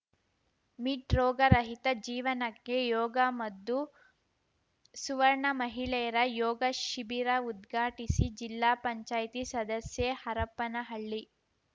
mid ರೋಗ ರಹಿತ ಜೀವನಕ್ಕೆ ಯೋಗ ಮದ್ದು ಸುವರ್ಣ ಮಹಿಳೆಯರ ಯೋಗ ಶಿಬಿರ ಉದ್ಘಾಟಿಸಿ ಜಿಲ್ಲಾ ಪಂಚಾಯಿತಿ ಸದಸ್ಯೆ ಹರಪನಹಳ್ಳಿ